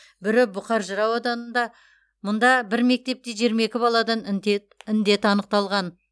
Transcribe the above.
бірі бұқар жырау ауданында мұнда бір мектепте жиырма екі баладан індет анықталған